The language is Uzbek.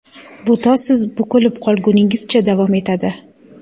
Bu to siz bukilib qolguningizcha davom etadi.